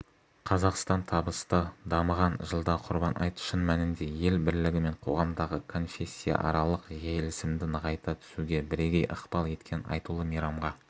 қазақстан табысты дамыған жылда құрбан айт шын мәнінде ел бірлігі мен қоғамдағы конфессияаралық келісімді нығайта түсуге бірегей ықпал еткен айтулы мейрамға